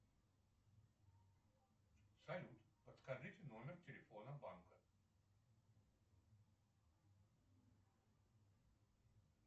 салют подскажите номер телефона банка